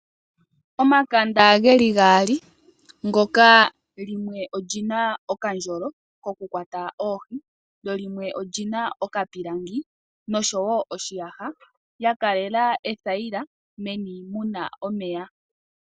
Omakanda geli gaali ngoka limwe olina okandyolo koku kwata oohi lyo limwe olina okapilangi noshi yaha ya kalela ethayila meni muna omeya.